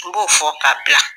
N b'o fɔ ka bila.